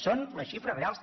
són les xifres reals